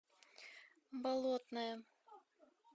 болотное